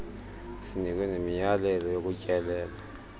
sinikwe nemiyalelo yokutyelela